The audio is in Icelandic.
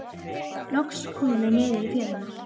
Loks komum við niður í fjöruna.